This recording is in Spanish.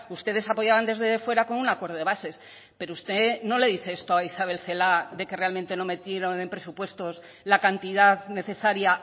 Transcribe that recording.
ustedes apoyaban desde fuera con un acuerdo de bases pero usted no le dice esto a isabel celaá de que realmente no metieron en presupuestos la cantidad necesaria